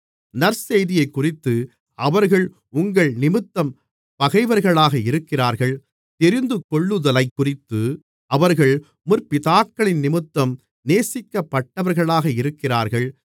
நற்செய்தியைக்குறித்து அவர்கள் உங்கள்நிமித்தம் பகைவர்களாக இருக்கிறார்கள் தெரிந்துகொள்ளுதலைக்குறித்து அவர்கள் முற்பிதாக்களினிமித்தம் நேசிக்கப்பட்டவர்களாக இருக்கிறார்கள்